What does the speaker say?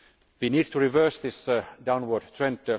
We need to reverse this downward trend.